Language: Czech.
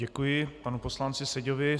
Děkuji panu poslanci Seďovi.